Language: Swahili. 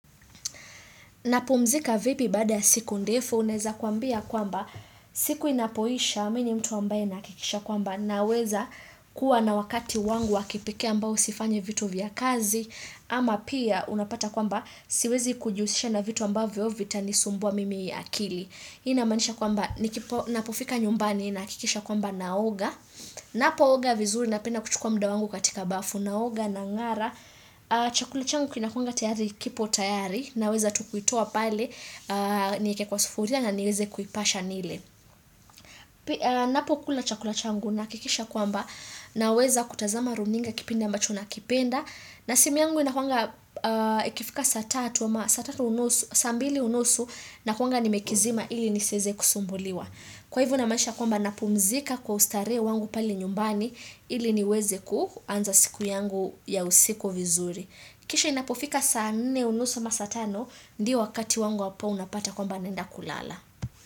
Napumzika vipi baada ya siku ndefu uneza kwambia kwamba siku inapoisha mini mtu ambaye nakikisha kwamba naweza kuwa na wakati wangu wakipekee ambao sifanye vitu vya kazi ama pia unapata kwamba siwezi kujuhusisha na vitu ambao vya vita ni sumboa mimi akili. Hii inamanisha kwamba nikipo napofika nyumbani nakikisha kwamba naoga Napo oga vizuri napenda kuchukua mda wangu katika bafu naoga nang'ara Chakula changu kinakuanga tayari kipo tayari na weza tukuitua pale Nieke kwa sufuria na niweze kuipasha nile Napo kula chakula changu nakikisha kwamba naweza kutazama runinga kipinda ambacho nakipenda na simu yangu inakuanga ikifika saa tatu ama saa tatu unusu Sambili unusu nakuanga nimekizima ili niseze kusumbuliwa. Kwa hivo namaisha kwamba napumzika kwa ustare wangu pale nyumbani ili niweze kuanza siku yangu ya usiku vizuri. Kisha inapofika saa nne unusu ama satano ndio wakati wangu wapo unapata kwamba nenda kulala.